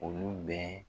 Olu bɛɛ